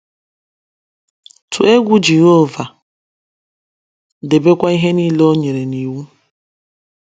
Tụọ Egwu Jehova, Debekwa Ihe Nile O Nyere n’Iwu